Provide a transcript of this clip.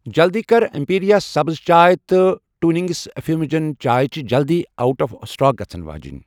جلدی کر، اٮ۪مپیٖرِیا سبٕز چاے تہٕ ٹوِنِنٛگس اِففیوّجن چاے چھِ جلدی اوٹ آف سٹاک گژھن واجِنۍ۔